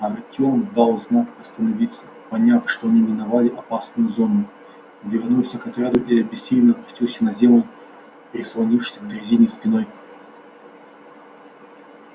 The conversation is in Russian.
артём дал знак остановиться поняв что они миновали опасную зону вернулся к отряду и обессиленно опустился на землю прислонившись к дрезине спиной